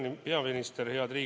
Hea peaminister!